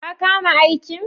Ka kama aikin?